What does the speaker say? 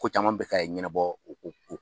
Ko caman bɛ ka ɲɛnabɔ ko